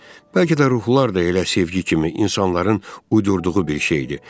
Bəlkə də ruhlar da elə sevgi kimi insanların uydurduğu bir şeydir.